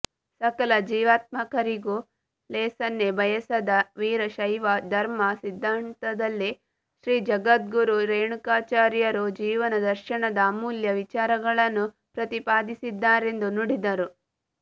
ಸಕಲ ಜೀವಾತ್ಮರಿಗೂ ಲೇಸನ್ನೇ ಬಯಸಿದ ವೀರಶೈವ ಧರ್ಮ ಸಿದ್ಧಾಂತದಲ್ಲಿ ಶ್ರೀಜಗದ್ಗುರು ರೇಣುಕಾಚಾರ್ಯರು ಜೀವನ ದರ್ಶನದ ಅಮೂಲ್ಯ ವಿಚಾರಗಳನ್ನು ಪ್ರತಿಪಾದಿಸಿದ್ದಾರೆಂದು ನುಡಿದರು